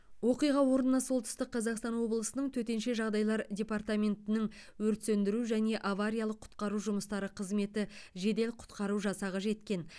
оқиға орнына солтүстік қазақстан облысының төтенше жағдайлар департаментінің өрт сөндіру және авариялық құтқару жұмыстары қызметі жедел құтқару жасағы жеткен